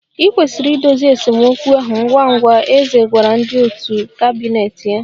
I kwesịrị idozi esemokwu ahụ ngwa ngwa, eze gwara ndị òtù kabinet ya